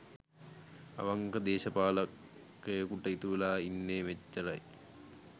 අවංක දේශපාලකයෙකුට ඉතුරුවෙලා ඉන්නේ මෙච්චරයි